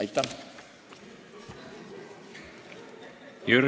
Aitäh!